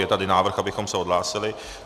Je tady návrh, abychom se odhlásili.